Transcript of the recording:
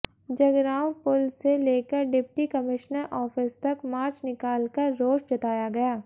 जगरांव पुल से लेकर डिप्टी कमिश्नर ऑफिस तक मार्च निकालकर रोष जताया गया